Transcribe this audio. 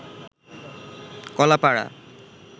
Kalapara